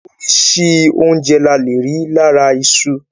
Orísìí oúnjẹ la leè rí lára iṣu.